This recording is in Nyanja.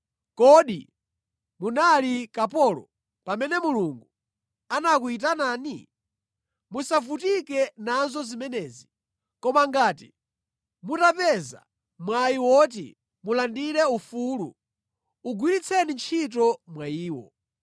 Kodi munali kapolo pamene Mulungu anakuyitanani? Musavutike nazo zimenezi. Koma ngati mutapeza mwayi woti mulandire ufulu, ugwiritseni ntchito mwayiwo.